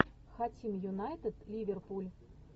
хотим юнайтед ливерпуль